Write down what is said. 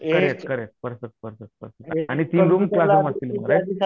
correct perfect perfect आणि तीन room classroom असतील राईट